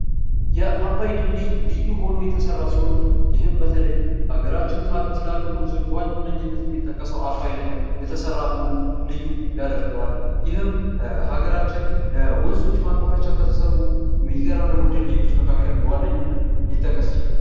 የዓባይ ድልድል ልዩ ሆኖ የተሰራዉ ሲሆን ይህም በተለይ በሀገራችን ካሉት ትላልቅ ወንዞች በዋነኝነት የሚጠቀሰዉ ዓባይ ላይ የተሰራ መሆኑ ልዩ ያደርገዋል። ይህም ሀገራችን ለወንዞች ማቋረጫ ከተሰሩ የሚገራርሙ ድልድዮች መካከል በዋነኝነት ሊጠቀስ ይችላል።